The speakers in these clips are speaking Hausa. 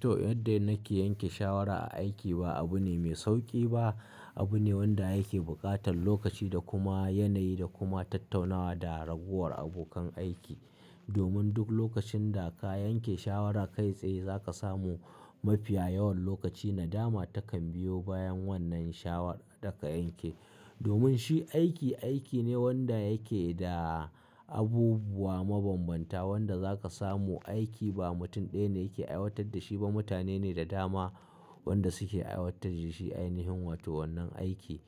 To, yadda nake yanke shawara a aiki ba abu ne mai sauƙi ba. Abu ne wanda yake buƙatar lokaci da kuma yanayi da kuma tattaunawa da raguwar abokan aiki. Domin duk lokacin da ka yanke shawara kai tsaye za ka samu mafiya yawan lokaci nadama takan biyo bayan wannan shawarar da ka yanke. Domin shi aiki, aiki ne wanda yake da abubuwa mabanbanta wanda za ka samu aiki ba mutum ɗaya ne yake aiwatar da shi ba mutane ne da dama wanda suke aiwatar da shi a ainihin wato wannan aiki.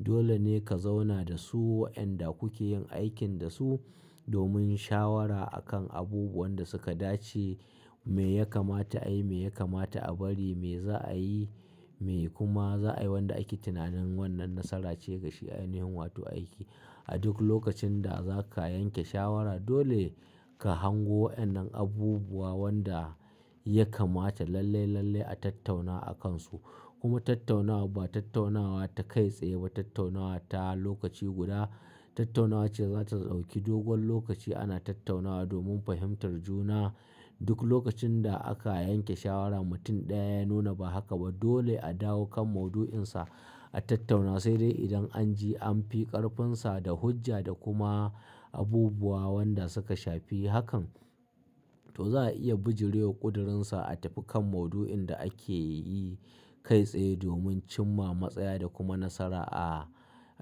Dole ne ka zauna da su waɗanda kuke yin aikin da su domin shawara a kan abubuwan da suka dace. Me ya kamata a yi, me ya kamata a bari, me za a yi, me kuma za a yi wanda ake tunanin wannan nasara ce gashi a ainihin wato aiki. A duk lokacin da za ka yanke shawara dole ka hango waɗannan abubuwa wanda ya kamata lalle, lalle a tattauna a kansu. Kuma tattaunawa ba tattaunawa ta kai tsaye ba tattaunawa ta lokaci guda. Tattaunawa ce za ta ɗauki dogon lokaci ana tattaunawa domin fahimtar juna. Duk lokacin da aka yanke shawara mutum ɗaya ya nuna ba haka ba dole a dawo kan maudu'insa a tattauna. Sai dai idan an ji an fi ƙarfinsa da hujja da kuma abubuwa wanda suka shafi hakan to za a iya bijirewa ƙudirinsa a tafi kan maudu'in da ake yi kai tsaye domin cimma matsaya da kuma nasara a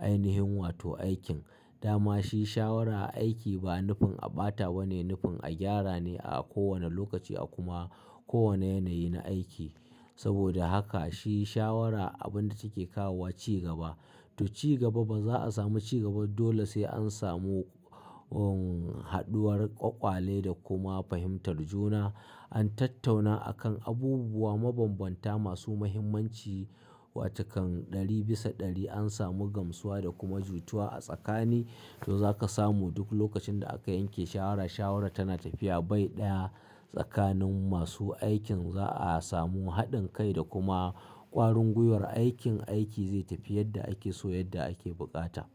ainihin wato aikin. Dama shi shawara a aiki ba nufin a ɓatawa ne nufin a gyara ne a kowane lokaci a kuma kowane yanayi na aiki. Saboda haka shi shawara abun da take kawowa ci gaba. To ci gaba ba za a samu ci gaba dole sai an samu, um, haɗuwar ƙwaƙwale da kuma fahimtar juna. An tattauna akan abubuwa mabanbanta masu muhimmanci wa cikan ɗari bisa ɗari an samu gamsuwa da kuma jituwa a tsakani. To za ka samu duk lokacin da aka yanke shawara, shawara tana tafiya bai ɗaya tsakanin masu aikin za a samu haɗin kai da kuma ƙwarin gwiwar aikin, aiki zai tafi yadda ake so yadda ake buƙata.